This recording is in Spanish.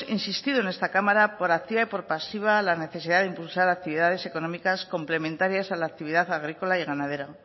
insistido en esta cámara por activa y por pasiva la necesidad de impulsar actividades económicas complementarias a la actividad agrícola y ganadera